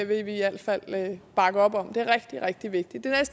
vil vi i alt fald bakke op om det er rigtig rigtig vigtigt der er